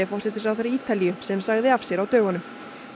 forsætisráðherra Ítalíu sem sagði af sér á dögunum